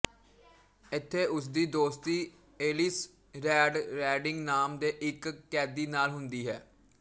ਇੱਥੇ ਉਸਦੀ ਦੋਸਤੀ ਏਲਿਸ ਰੈਡ ਰੈਡਿੰਗ ਨਾਮ ਦੇ ਇੱਕ ਕੈਦੀ ਨਾਲ ਹੁੰਦੀ ਹੈ